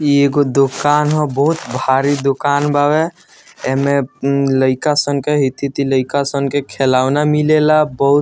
इ एगो दुकान हो बहुत भारी दुकान बावे। एमें उम लईका सन के हेती-हेती लईका सन के खिलौना मिलेला बहुत --